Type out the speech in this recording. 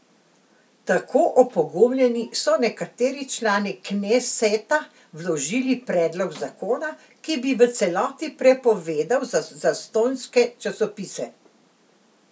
Tako opogumljeni so nekateri člani kneseta vložili predlog zakona, ki bi v celoti prepovedal zastonjske časopise.